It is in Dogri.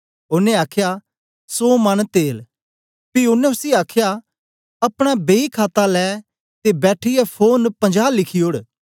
ओनें आखया सौ मन तेल पी ओनें उसी आखया अपना बेई खाता लै ते बैठीयै फोरन पंजा लिखी ओड़